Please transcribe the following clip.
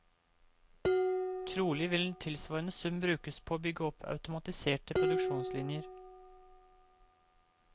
Trolig vil en tilsvarende sum brukes på å bygge opp automatiserte produksjonslinjer.